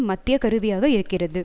மத்திய கருவியாக இருக்கிறது